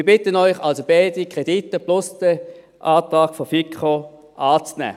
Wir bitten Sie also, beide Kredite plus den Antrag der FiKo anzunehmen.